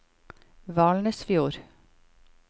Valnesfjord